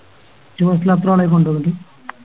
ഒറ്റ Bus ല അത്രളെയും കൊണ്ടോയത്